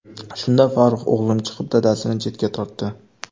Shunda Farruh o‘g‘lim chiqib, dadasini chetga tortdi.